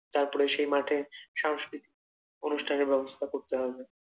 তারপরে সেই মাঠের সাংস্কৃতিক অনুষ্ঠানের ব্যবস্থা করতে হবে।